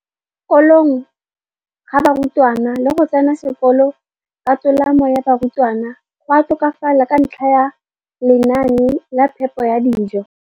kolong ga barutwana le go tsena sekolo ka tolamo ga barutwana go a tokafala ka ntlha ya lenaane la phepo ya dijo.